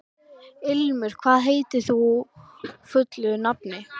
Ilmur, hvað heitir þú fullu nafni?